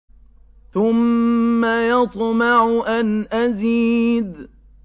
ثُمَّ يَطْمَعُ أَنْ أَزِيدَ